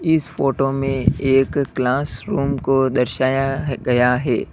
इस फोटो में एक क्लासरूम को दर्शाया गया है।